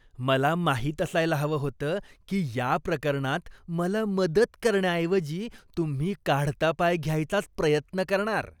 मला माहीत असायला हवं होतं की या प्रकरणात मला मदत करण्याऐवजी तुम्ही काढता पाय घ्यायचाच प्रयत्न करणार.